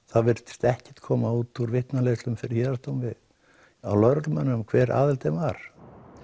það virtist ekkert koma út úr vitnaleiðslum fyrir héraðsdómi hjá lögreglumönnunum um það hver aðildin var